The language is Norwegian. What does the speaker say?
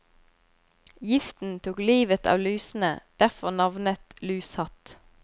Giften tok livet av lusene, derfor navnet lushatt.